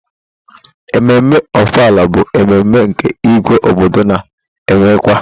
Emume Ọfala bụ mmemme nke Ígwé obodo na-emekwa.